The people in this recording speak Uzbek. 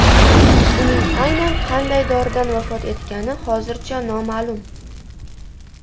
Uning aynan qanday doridan vafot etgani hozircha noma’lum.